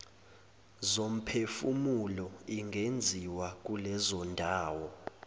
zomphefumulo ingenziwa kulezondawo